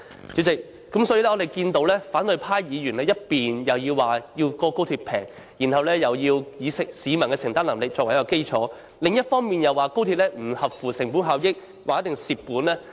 主席，我們看到反對派議員，一方面要求高鐵降低票價，要以市民的承擔能力作基礎；另一方面又批評高鐵不合乎成本效益，一定會虧蝕。